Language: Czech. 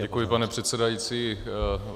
Děkuji, pane předsedající.